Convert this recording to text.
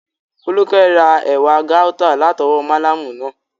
Fólúkẹ́ ra ewé gáútà látọwọ́ málámù náà